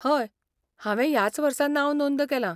हय, हांवें ह्याच वर्सा नांव नोंद केलां.